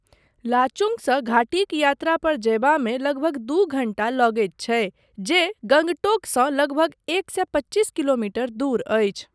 लाचुङ्गसँ घाटीक यात्रा पर जयबामे लगभग दू घण्टा लगैत छै जे गङ्गटोकसँ लगभग एक सए पच्चीस किलोमीटर दूर अछि।